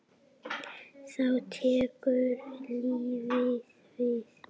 Þá tekur lífið við?